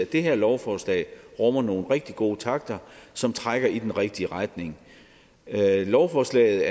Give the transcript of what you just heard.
det her lovforslag rummer nogle rigtig gode takter som trækker i den rigtige retning lovforslaget